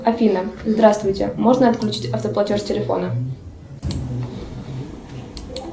афина здравствуйте можно отключить автоплатеж телефона